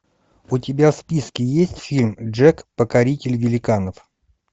у тебя в списке есть фильм джек покоритель великанов